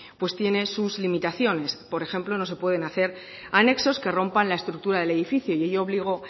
pues tiene sus limitaciones por ejemplo no se pueden hacer anexos que rompan la estructura del edificio y ello obligó